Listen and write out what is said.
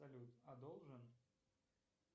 салют а должен